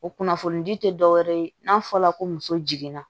O kunnafoni di te dɔwɛrɛ ye n'a fɔla ko muso jiginna